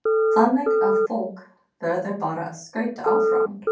Þannig að fólk verður bara að skauta áfram?